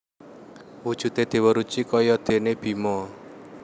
Wujudé Déwa Ruci kaya déné Bima